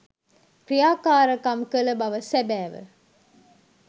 ක්‍රියාකාරකම් කළ බව සැබෑව.